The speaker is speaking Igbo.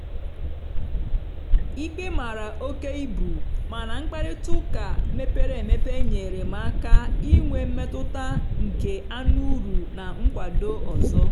ikpe mara oke ibu mana mkparịta ụka mepere emepe nyeere m aka inwe mmetụta nke anụuru na nkwado ọzọ.